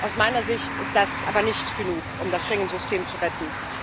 Aus meiner Sicht ist das aber nicht genug, um das Schengen System zu retten.